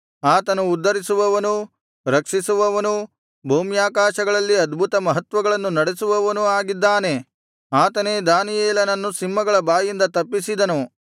ಆತನು ಉದ್ಧರಿಸುವವನೂ ರಕ್ಷಿಸುವವನೂ ಭೂಮ್ಯಾಕಾಶಗಳಲ್ಲಿ ಅದ್ಭುತಮಹತ್ವಗಳನ್ನು ನಡೆಸುವವನೂ ಆಗಿದ್ದಾನೆ ಆತನೇ ದಾನಿಯೇಲನನ್ನು ಸಿಂಹಗಳ ಬಾಯಿಂದ ತಪ್ಪಿಸಿದನು